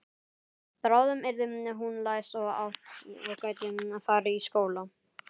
Bráðum yrði hún læs og gæti farið í skóla.